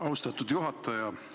Austatud juhataja!